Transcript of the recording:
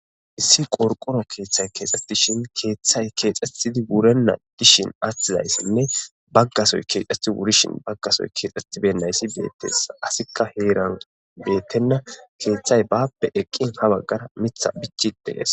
Issi qorqoro kethay kexetishe kethay wurena dishin atidaysainne bagasoy kexeti wuridaysan bagasoy kexeti wuribeynay betese asika hran betena kethayi bape eqine mithi bichay eqis